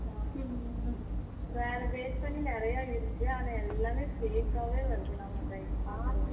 ஆமா ஹம் வேற base பண்ணி நிறைய இருக்கு ஆனா எல்லாமே fake ஆவே வருது நம்ம type பண்ணுறது